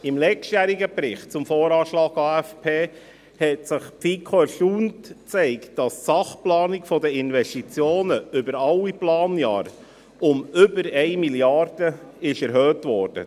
Im letztjährigen Bericht zum Voranschlag (VA) und Aufgaben- und Finanzplan (AFP) zeigte sich die FiKo erstaunt, dass die Sachplanung der Investitionen über alle Planjahre um über 1 Mrd. Franken erhöht wurde.